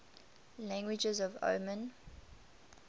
languages of oman